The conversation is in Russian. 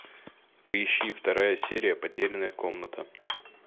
поищи вторая серия потерянная комната